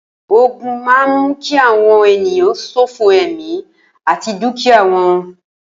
Ógùn mà n mù ki awọn éniyàn ṣófó ẹmi àtí dùkíyá wọn